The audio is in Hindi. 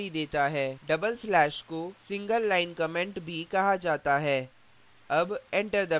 tdouble slash double slash को single line comment भी कहा जाता है